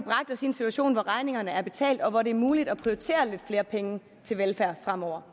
en situation hvor regningerne er betalt og hvor det er muligt at prioritere lidt flere penge til velfærd fremover